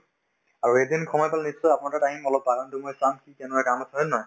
আৰু এদিন সময় পালে নিশ্চয় আপোনাৰ তাত আহিম অলপ বাগানতো মই চাম কি কেনেকুৱা কাম আছে হয় নে নহয়